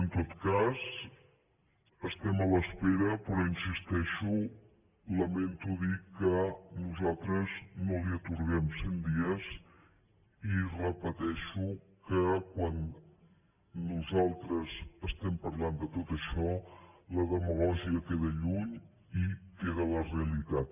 en tot cas estem a l’espera però hi insisteixo lamento dir que nosaltres no li atorguem cent dies i repeteixo que quan nosaltres estem parlant de tot això la demagògia queda lluny i queda la realitat